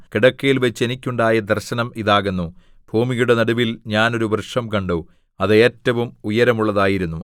കിടക്കയിൽവച്ച് എനിക്കുണ്ടായ ദർശനം ഇതാകുന്നു ഭൂമിയുടെ നടുവിൽ ഞാൻ ഒരു വൃക്ഷം കണ്ടു അത് ഏറ്റവും ഉയരമുള്ളതായിരുന്നു